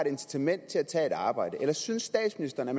incitament til at tage et arbejde eller synes statsministeren at